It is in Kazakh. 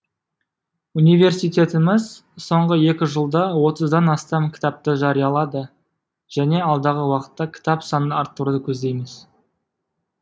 университетіміз соңғы екі жылда отыздан астам кітапты жариялады және алдағы уақытта кітап санын арттыруды көздейміз